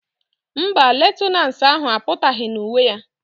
Mba, lieutenance ahụ apụtaghị na uwe ya